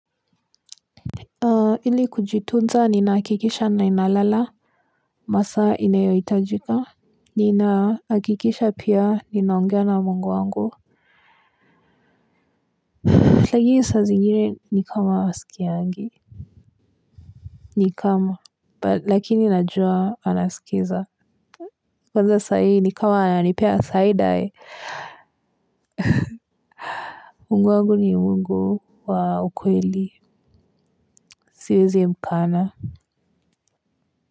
Ili kujitunza ninahakikisha nalala. Masaa inayohitajika. Ninahakikisha pia ninaongea na mungu wangu lakini saa zingine ni kama haskiangi. Ni kama lakini najua anasikiza. Kwanza sahii ni kama ananipea side eye Mungu wangu ni mungu wa ukweli siwezi mkana. Kwa hivyo.